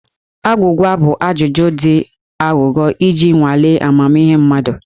Agwụgwa bụ ajụjụ dị aghụghọ iji nwalee amamihe mmadụ.